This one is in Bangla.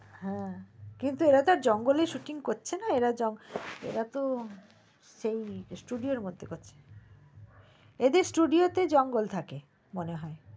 হ্যা কিন্তু এরা তো জঙ্গলে shooting করছে না এরা তো সেই studio ওর মধ্যে করছে এদের studio তে জঙ্গল থাকে মনে হয়